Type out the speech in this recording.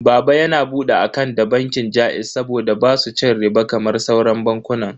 Baba na ya bude akant da bankin jaiz saboda basu cin riɓa kamar sauran bankunan.